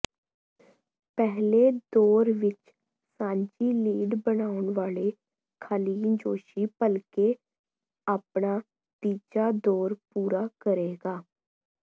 ਪਹਿਲੇ ਦੌਰ ਵਿੱਚ ਸਾਂਝੀ ਲੀਡ ਬਣਾਉਣ ਵਾਲੇ ਖਾਲਿਨ ਜੋਸ਼ੀ ਭਲਕੇ ਆਪਣਾ ਤੀਜਾ ਦੌਰ ਪੂਰਾ ਕਰੇਗਾ